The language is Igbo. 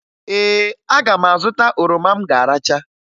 Ee, aga m azụta oroma m ga-aracha